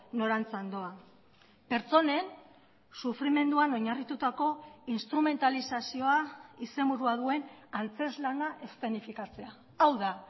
norantzan doa pertsonen sufrimenduan oinarritutako instrumentalizazioa izenburua duen antzezlana eszenifikatzea hau da